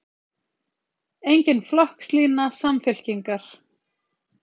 Engin flokkslína Samfylkingar